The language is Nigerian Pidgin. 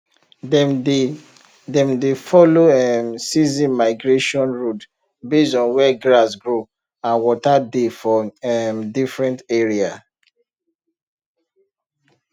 dem dey dem dey follow um season migration road based on where grass grow and water dey for um different area